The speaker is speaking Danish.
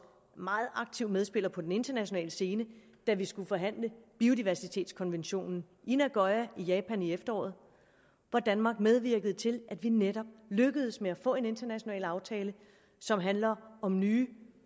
meget aktiv medspiller på den internationale scene da vi skulle forhandle biodiversitetskonventionen i nagoya i japan i efteråret hvor danmark medvirkede til at vi netop lykkedes med at få en international aftale som handler om nye